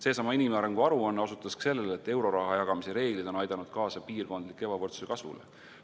Seesama inimarengu aruanne osutas ka sellele, et euroraha jagamise reeglid on aidanud kaasa piirkondliku ebavõrdsuse kasvule.